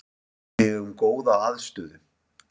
Við eigum góða aðstöðu